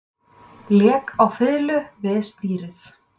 Lék á fiðlu við stýrið